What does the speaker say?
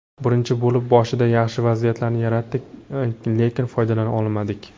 Birinchi bo‘lim boshida yaxshi vaziyatlarni yaratdik, lekin foydalana olmadik.